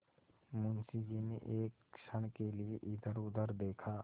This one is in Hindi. मुंशी जी ने एक क्षण के लिए इधरउधर देखा